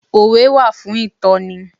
Òwe wà fún ìtọ́ni.